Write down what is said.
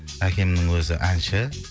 әкемнің өзі әнші